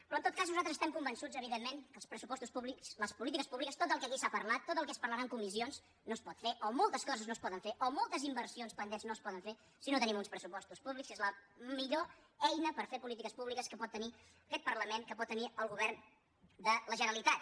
però en tot cas nosaltres estem convençuts evidentment que els pressupostos públics les polítiques públiques tot el que aquí s’ha parlat tot el que es parlarà en comissions no es pot fer o moltes coses no es poden fer o moltes inversions pendents no es poden fer si no tenim uns pressupostos públics que és la millor eina per fer polítiques públiques que pot tenir aquest parlament que pot tenir el govern de la generalitat